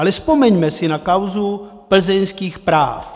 Ale vzpomeňme si na kauzu plzeňských práv.